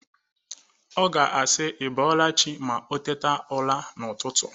Ọ ga-asị ị bọọla chi ma ọ teta ụra n'ụtụtụ.